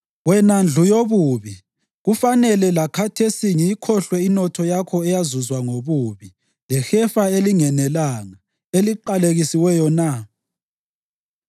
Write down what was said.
Wena ndlu yobubi, kufanele lakhathesi ngiyikhohlwe inotho yakho eyazuzwa ngobubi, lehefa elinganelanga, eliqalekisiweyo na?